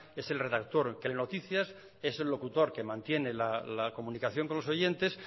es el redactor que lee noticias es el locutor que mantiene la comunicación con los oyentes